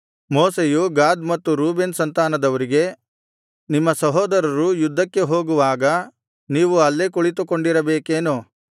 ಮೋಶೆಯು ಗಾದ್ ಮತ್ತು ರೂಬೇನ್ ಸಂತಾನದವರಿಗೆ ನಿಮ್ಮ ಸಹೋದರರು ಯದ್ಧಕ್ಕೆ ಹೋಗುವಾಗ ನೀವು ಅಲ್ಲೇ ಕುಳಿತುಕೊಂಡಿರಬೇಕೇನು